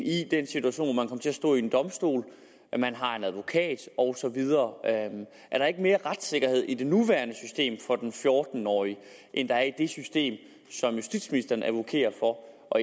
domstol hvor man har en advokat og så videre er der ikke mere retssikkerhed i det nuværende system for den fjorten årige end der er i det system som justitsministeren advokerer for og